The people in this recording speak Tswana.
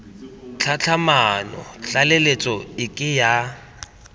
tlhatlhamano tlaleletso e ke ya